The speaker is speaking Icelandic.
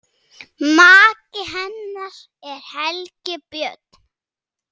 Maki hennar er Helgi Björn.